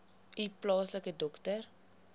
u plaaslike dokter